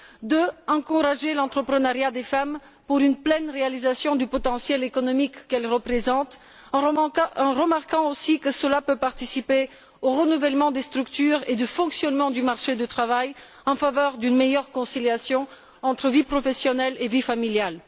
Deuxièmement, encourager l'entreprenariat des femmes pour une pleine réalisation du potentiel économique qu'elles représentent en remarquant aussi que cela peut contribuer au renouvellement des structures et du fonctionnement du marché du travail en faveur d'une meilleure conciliation entre vie professionnelle et vie familiale.